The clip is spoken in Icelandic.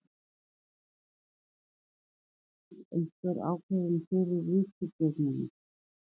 Þorbjörn: Liggur einhver ákvörðun fyrir í ríkisstjórninni?